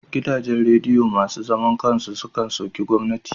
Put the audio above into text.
Gidajen radiyo masu zaman kan su sukan soki gwamnati.